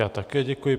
Já také děkuji.